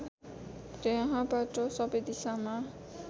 त्यहाँबाट सबै दिशामा